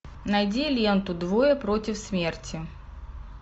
найди ленту двое против смерти